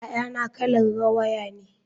Yayana kalar rawaya ne.